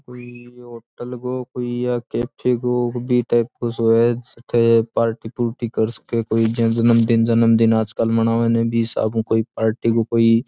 कोई ये होटल गो या कैफे गो के बी टाईप गो सो है जठै पार्टी पूर्टी कर सके कोई जन्मदिन जन्मदिन आजकल मनावे नै बी हिसाब ऊं पार्टी गो कोई।